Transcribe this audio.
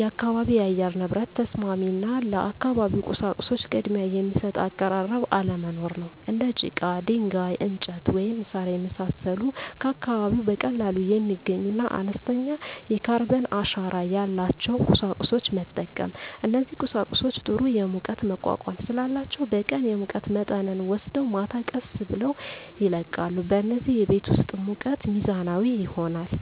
የአካባቢ የአየር ንብረት ተስማሚ እና ለአካባቢው ቁሳቁሶች ቅድሚያ የሚሰጥ አቀራረብ አለመኖር ነው። እንደ ጭቃ፣ ድንጋይ፣ እንጨት፣ ወይም ሣር የመሳሰሉ ከአካባቢው በቀላሉ የሚገኙና አነስተኛ የካርበን አሻራ ያላቸውን ቁሳቁሶች መጠቀም። እነዚህ ቁሳቁሶች ጥሩ የሙቀት መቋቋም ስላላቸው በቀን የሙቀት መጠንን ወስደው ማታ ቀስ ብለው ይለቃሉ፣ በዚህም የቤት ውስጥ ሙቀት ሚዛናዊ ይሆናል።